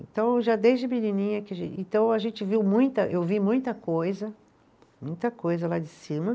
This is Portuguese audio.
Então, já desde menininha que, então a gente viu muita, eu vi muita coisa, muita coisa lá de cima.